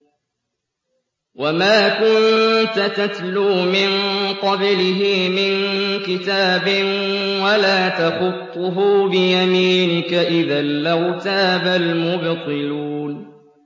وَمَا كُنتَ تَتْلُو مِن قَبْلِهِ مِن كِتَابٍ وَلَا تَخُطُّهُ بِيَمِينِكَ ۖ إِذًا لَّارْتَابَ الْمُبْطِلُونَ